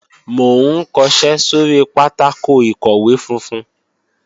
Mò ń kọṣẹ́ sóri pátákò ìkọ̀wé funfun